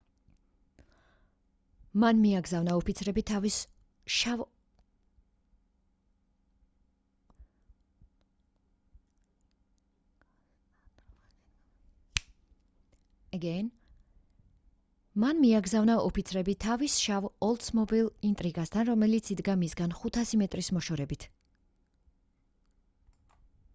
მან მიაგზავნა ოფიცრები თავის შავ ოლდსმობილ ინტრიგასთან რომელიც იდგა მისგან 500 მეტრის მოშორებით